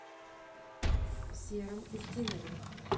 сером устинове